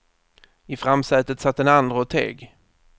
I framsätet satt den andre och teg.